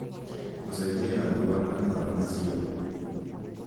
gũcenjia rangi wa matawa macio